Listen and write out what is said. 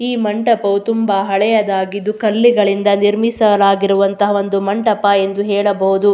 ಈ ಮಂಟಪವು ತುಂಬ ಹಳೆಯದಾಗಿದ್ದು ಕಲ್ಲುಗಳಿಂದ ನಿರ್ಮಿಸಲಾಗಿರುವ ಒಂದು ಮಂಟಪ ಎಂದು ಹೇಳಬಹುದು.